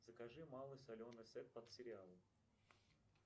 закажи малый соленый сет под сериал